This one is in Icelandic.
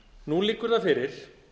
nú liggur það fyrir